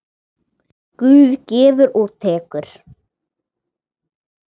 Guð gefur og tekur.